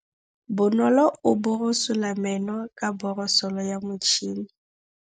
Bonolô o borosola meno ka borosolo ya motšhine.